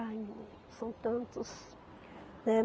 Ai, são tantos.